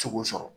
Se k'o sɔrɔ